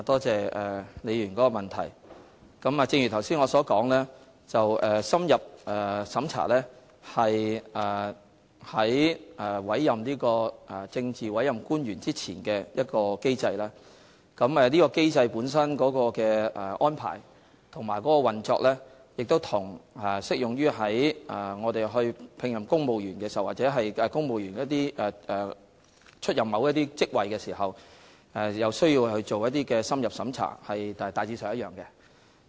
正如我剛才所說，深入審查是在委任政治委任官員之前進行的，而這個機制在安排及運作上，與適用於聘用公務員或委任公務員出任某些職位時所須進行的深入審查的機制，大致相同。